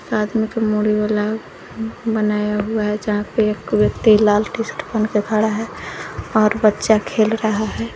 आदमी को मुड़ी वाला बनाया हुआ है जहां पे एक व्यक्ति लाल टी शर्ट पहन के खड़ा है और बच्चा खेल रहा है।